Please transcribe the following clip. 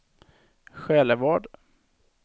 Själevad